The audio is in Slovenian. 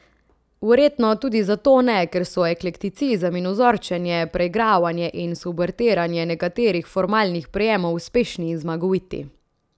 Verjetno tudi zato ne, ker so eklekticizem in vzorčenje, preigravanje in subvertiranje nekaterih formalnih prijemov uspešni in zmagoviti.